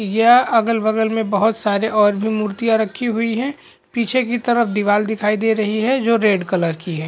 य अगल-बगल में बहोत सारे और भी मुर्तिया रखी हुई है। पीछे के तरफ दीवाल दिखाई दे रही है जो रेड कलर की है।